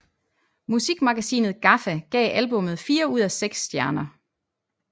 Musikmagasinet GAFFA gav albummet fire ud af seks stjerner